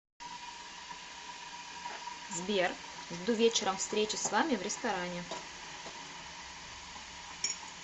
сбер жду вечером встречи с вами в ресторане